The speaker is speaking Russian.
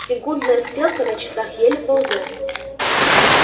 секундная стрелка на часах еле ползёт